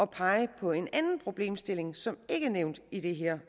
pege på en anden problemstilling som ikke er nævnt i det her